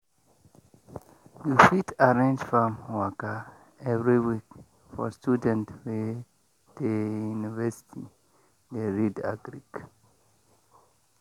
you fit arrange farm waka every week for students wey dey university dey read agric.